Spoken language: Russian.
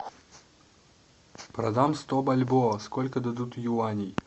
продам сто бальбоа сколько дадут юаней